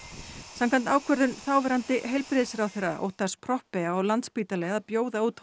samkvæmt ákvörðun þáverandi heilbrigðisráðherra Proppé á Landspítali að bjóða út